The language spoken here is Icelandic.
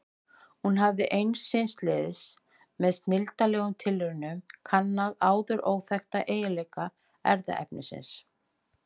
Hún hafði ein síns liðs með snilldarlegum tilraunum kannað áður óþekkta eiginleika erfðaefnisins.